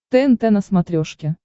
тнт на смотрешке